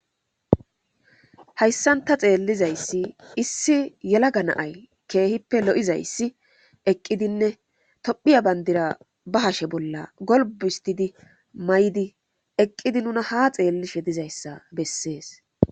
Hayssanta xeellizayssi issi yela ganaay keehippe lo'izayssi eqqidinne tophiya bandira ba hashe bolla golb histidi may'di eqqidi nuna ha xeellishe dizayssa bessees.